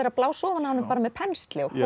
að blása ofan af honum með pensli og